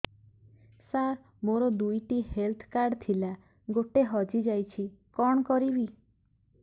ସାର ମୋର ଦୁଇ ଟି ହେଲ୍ଥ କାର୍ଡ ଥିଲା ଗୋଟେ ହଜିଯାଇଛି କଣ କରିବି